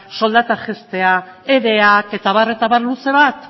soldata jaistea ereak etabar etabar luze bat